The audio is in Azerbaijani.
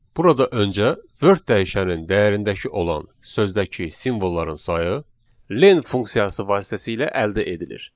Burada öncə word dəyişəninin dəyərindəki olan sözdəki simvolların sayı len funksiyası vasitəsilə əldə edilir.